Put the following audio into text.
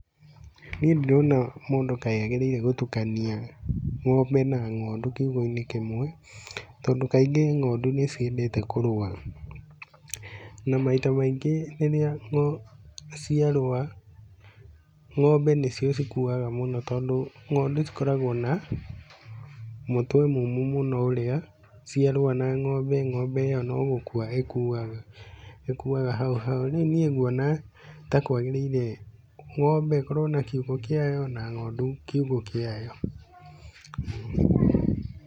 Niĩ ndirona mũndũ kaĩ agirĩire gũtukania ng'ombe na ng'ondu kiugu-inĩ kĩmwe. Tondũ kaingĩ ng'ondu nĩ ciendete kũrũa. Na maita maingĩ rĩrĩa ciarũa, ng'ombe nĩ cio cikuaga mũno tondũ ng'ondu cikoragwo na mũtwe mũmũ mũno ũrĩa ciarũa na ng'ombe ng'ombe ĩyo nó gukua ĩkuaga, ĩkuaga hau hau. Rĩu niĩ nguona ta kwagĩrĩire ng'ombe ikoragwo na kiugu kĩayo na ng'ondu kiugu kĩayo.